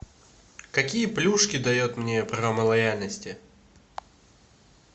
какие плюшки дает мне программа лояльности